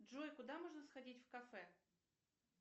джой куда можно сходить в кафе